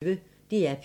DR P1